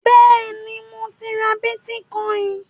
Bẹ́ẹ̀ni, mo ti ra bítíkọìnì.